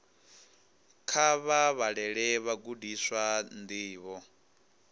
kha vha vhalele vhagudiswa ndivho